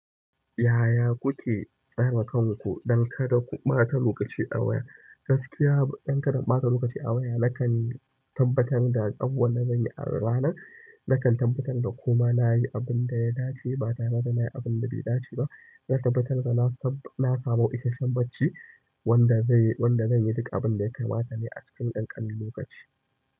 Yaya kuke tsare kanku don kada ku ɓata lokaci a waya? Gaskiya don kada in ɓata lokaci a waya nakan tabbatar da abubuwan da zanyi a ranar, nakan tabbatar da kuma nayi abun da ya dace bata mana nayi abunda bai dace ba, zan tabbatar da na samu isasshen bacci wanda zai wanda zanyi duk abin da ya kamata ne a cikin ƙanƙanin lokaci.